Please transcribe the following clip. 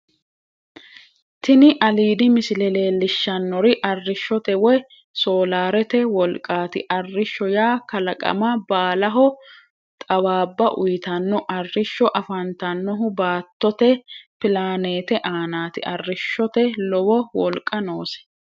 Tini aliidi misile leellishshanori arishshote woy soolaarete wolqaati. Arishsho yaa kalaqama baalaho xawaabba uyitanno. Arishsho afantannohu baattote plaaneete aanaati. Arishshote lowo wolqa noose.